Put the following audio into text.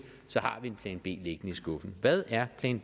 en plan b liggende i skuffen hvad er plan